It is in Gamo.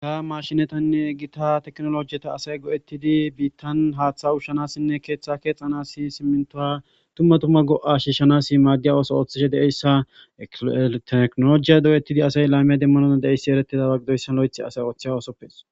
Ha mashinettanne gita tekinolojeta asay go'oettidii bidii haaththa uushshiza keeththa kexanas simintuwa dumma dumma go'owa shiishshanas ooththishe de'izayssa tekinolojiya go'oettidii asay lame demanas dandaye asay lo'oththi ooththiza oosoppe